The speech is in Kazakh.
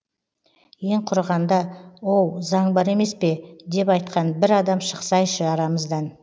ең құрығанда оу заң бар емес пе деп айтқан бір адам шықсайшы арамыздан